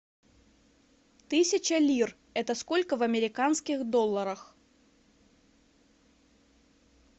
тысяча лир это сколько в американских долларах